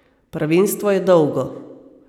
Prvenstvo je dolgo.